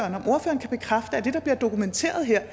har at det der bliver dokumenteret her er